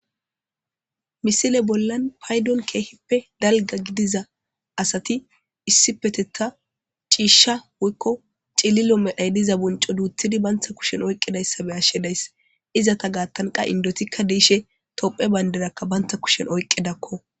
Misilezi bollan payidon kehippe dalga gidiza asati issippetetani ci'isha woyiko ci'lilo medhoyi diza woxo banta kushen oyikidayisa be'ashe dayis izata gathan qasi indotika dishe tophiya bandira banta kushen oyikidako